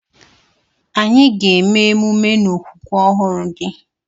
Anyị ga eme ememe n'okwukwe ọhụrụ gị.